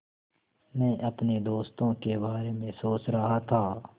मैं अपने दोस्तों के बारे में सोच रहा था